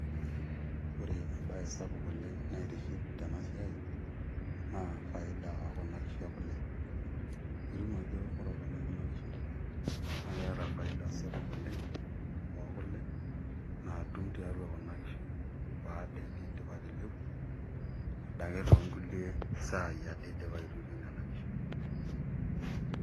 Oore embaye sapuk oleng naitiship tenasiai naa faida onkishu e kule. Itum aajo oore olopeny kuuna kishu, neeta faida sapuk oleng e kule, naatum tiatua kuna kishu baada teneidip atelepu, ebaiki tonkulie saai aade eidipa aitptio nena kishu.